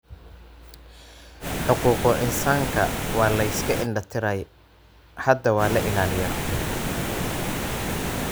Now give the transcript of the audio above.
Xuquuqul insaanka waa la iska indhatiray. Hadda waa la ilaaliyaa.